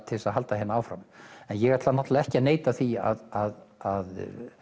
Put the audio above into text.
til þess að halda hérna áfram en ég ætla ekki að neita því að